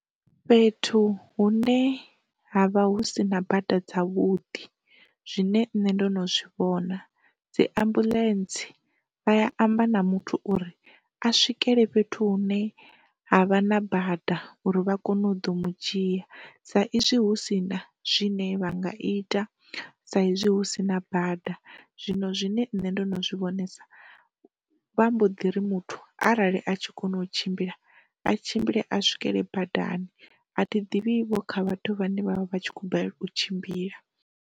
Fhethu hune havha hu sina bada dza vhudi zwine nṋe ndo no zwivhona dzi ambuḽentse vha amba na muthu uri a swike le fhethu hune havha na bada uri vha kone u ḓo mu dzhia sa izwi hu sina zwine vha nga ita sa izwi hu sina bada, zwino zwine nṋe ndo no zwi vhonesa vha mbo ḓi ri muthu arali a tshi kona u tshimbila a tshimbile a swikele badani, a thi ḓivhivho kha vhathu vhane vha vha vhatshi kho balelwa u tshimbila.